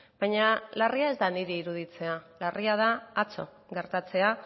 baina larria ez da niri iruditzea larria da atzo gertatzea